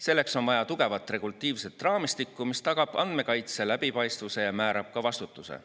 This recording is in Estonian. Selleks on vaja tugevat regulatiivset raamistikku, mis tagab andmekaitse läbipaistvuse ja määrab ka vastutuse.